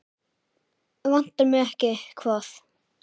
Vantar mig ekki hvað?